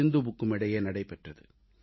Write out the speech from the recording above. சிந்துவுக்கும் இடையே நடைபெற்றது